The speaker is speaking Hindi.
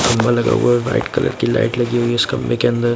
खंबा लगा हुआ है वाइट कलर की लाइट लगी हुई है इस खंबे के अंदर--